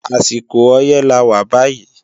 Àsìkò ọyẹ́ lawà bàyí